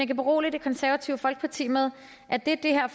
kan berolige det konservative folkeparti med at det det her